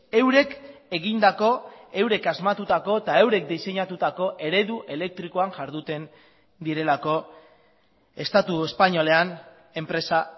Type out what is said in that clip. eurek egindako eurek asmatutako eta eurek diseinatutako eredu elektrikoan jarduten direlako estatu espainolean enpresa